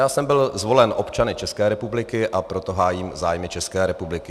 Já jsem byl zvolen občany České republiky, a proto hájím zájmy České republiky.